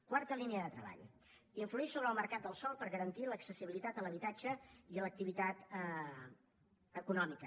quarta línia de treball influir sobre el mercat del sòl per garantir l’accessibilitat a l’habitatge i a l’activitat econòmica